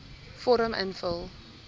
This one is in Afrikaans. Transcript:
vorm invul